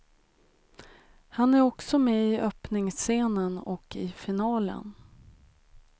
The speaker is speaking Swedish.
Han är också med i öppningsscenen och i finalen.